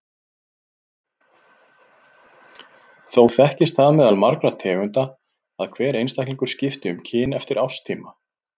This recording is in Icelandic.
Þó þekkist það meðal margra tegunda að hver einstaklingur skipti um kyn eftir árstíma.